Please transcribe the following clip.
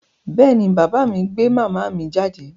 Bẹ́ẹ̀ ni, bàbá mi gbé màmá mi jáde.